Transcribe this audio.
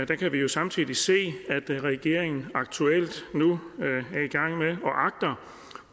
kan jo samtidig se at regeringen aktuelt agter